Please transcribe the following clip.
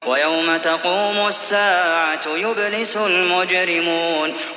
وَيَوْمَ تَقُومُ السَّاعَةُ يُبْلِسُ الْمُجْرِمُونَ